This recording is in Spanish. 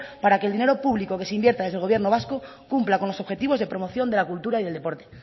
para que el dinero público que se invierta desde el gobierno vasco cumpla con los objetivos de promoción de la cultura y el deporte